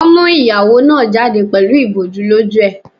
Wọ́n mú ìyàwó náà jáde pẹ̀lú ìbòjú lójú ẹ̀.